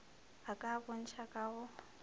a ka bontšha ka go